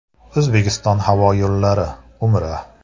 “O‘zbekiston havo yo‘llari” “Umra.